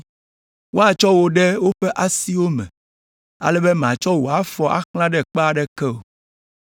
woatsɔ wò ɖe woƒe asiwo me, ale be màtsɔ wò afɔ axlã ɖe kpe aɖeke o.’ ”